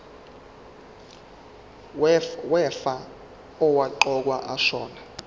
wefa owaqokwa ashona